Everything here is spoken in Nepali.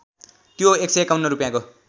त्यो १५१ रूपैयाँको